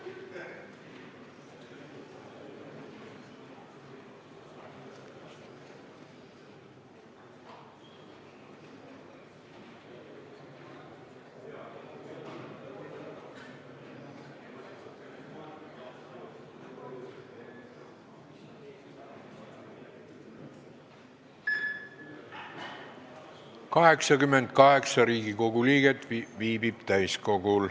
Kohaloleku kontroll Täiskogul viibib 88 Riigikogu liiget.